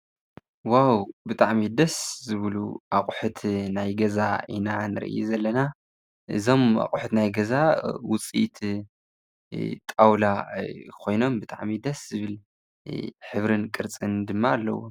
ዋዉ ብጣዕሚ ደስ ዝብሉ ኣቁሑት ናይ ገዛ ኢና ንርኢ ዘለና እዞም ኣቁሑት ናይ ገዛ ዉጺኢት ጣዉላ ኾይኖም ብጣዕሚ ደስ ዝብል ሕብርን ቅርፅን ድማ ኣለዎም።